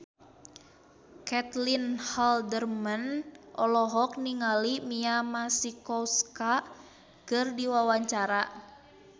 Caitlin Halderman olohok ningali Mia Masikowska keur diwawancara